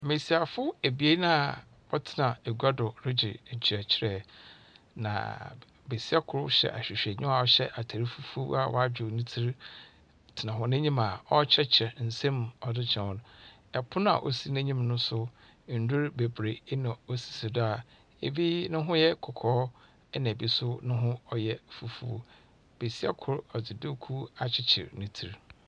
Mbesiafo ebien a wɔtsena egua do regye nkyerɛkyerɛ, na b besia kor hyɛ ahwehwɛniwa a ɔhyɛ atar fufuw a wadwow ne tsir tsena hɔ n'enyim a ɔrekyerɛkyerɛ nsɛm mu ɔdze kyerɛ hɔn. Ɛpon a osi n'enyim no nso ndur bebree na osisi do a ebi ne ho yɛ kɔkɔɔ ɛnna ebi nso ne ho yɛ fufuw. Besia kor ɔdze duukuu akyekyer ne tsir.